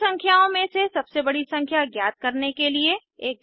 तीन संख्याओं में से सबसे बड़ी संख्या ज्ञात करने के लिए एक जावा प्रोग्राम लिखें